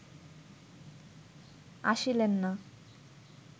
আসিলেন না